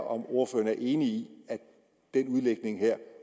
om ordføreren er enig i at den udlægning her